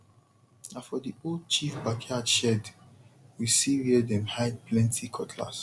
na for the old chief backyard shed we see where dem hide plenty cutlass